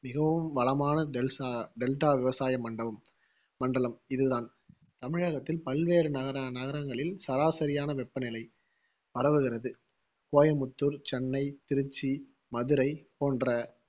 மிகவும் வளமான விவசாய மண்டவம் மண்டலம் இது தான் தமிழகத்தின் பல்வேறு நக~ நகரங்களில் சராசரி வெப்பநிலை பரவுகிறது சென்னை, கோயம்புத்தூர், திருச்சி, மதுரை